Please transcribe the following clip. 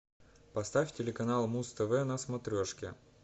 поставь телеканал муз тв на смотрешке